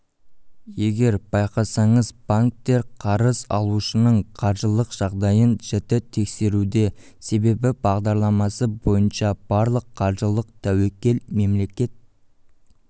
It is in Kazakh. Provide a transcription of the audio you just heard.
егер байқасаңыз банктер қарыз алушының қаржылық жағдайын жіті тексеруде себебі бағдарламасы бойынша барлық қаржылық тәуекел мемлекет